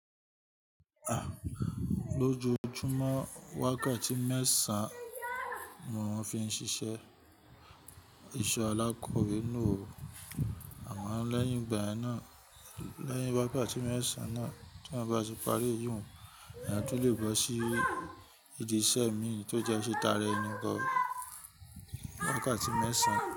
Lójoojúmọ́ wákàtí mẹ́san mo ń fi ń ṣiṣẹ́ iṣẹ́ alákòwé náà, àmọ́ lẹ́yìn igba yen naa, lẹyin wákàtí mẹ́san náà tí eeyan ti parí íyùn ni a tún lè bọ́ sí ìdí iṣẹ́ mi tó jẹ́ ẹsi taara ẹni gan wákàtí mẹ́san.